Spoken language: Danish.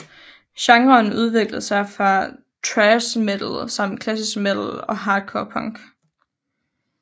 Genren udviklede sig fra thrash metal samt klassisk metal og hardcore punk